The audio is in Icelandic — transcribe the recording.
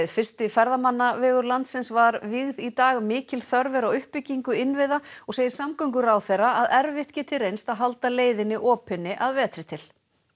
fyrsti ferðamannavegur landsins var vígð í dag mikil þörf er á uppbyggingu innviða og segir samgönguráðherra að erfitt geti reynst að halda leiðinni opinni að vetri til